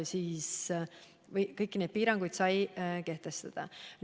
Kõiki neid piiranguid sai kehtestada.